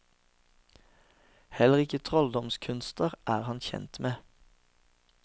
Heller ikke trolldomskunster er han ukjent med.